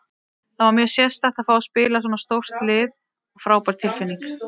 Það var mjög sérstakt að fá að spila fyrir svona stórt lið og frábær tilfinning.